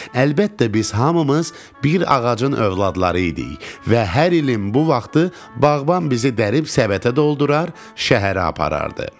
Əlbəttə, biz hamımız bir ağacın övladları idik və hər ilin bu vaxtı bağban bizi dərib səbətə doldurar, şəhərə aparardı.